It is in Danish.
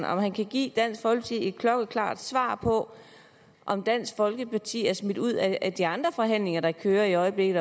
om han kan give dansk folkeparti et klokkeklart svar på om dansk folkeparti er smidt ud af de andre forhandlinger der kører i øjeblikket